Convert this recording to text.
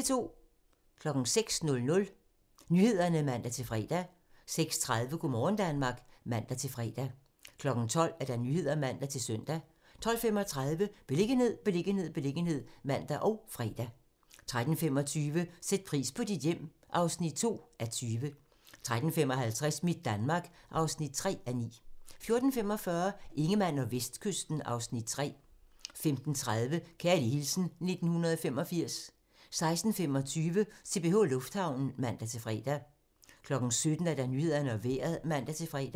06:00: Nyhederne (man-fre) 06:30: Go' morgen Danmark (man-fre) 12:00: Nyhederne (man-søn) 12:35: Beliggenhed, beliggenhed, beliggenhed (man og fre) 13:25: Sæt pris på dit hjem (2:20) 13:55: Mit Danmark (3:9) 14:45: Ingemann og Vestkysten (Afs. 3) 15:30: Kærlig hilsen 1985 16:25: CPH Lufthavnen (man-fre) 17:00: Nyhederne og Vejret (man-fre)